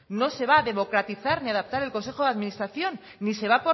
no se va a democratizar ni adaptar el consejo de administración ni se va a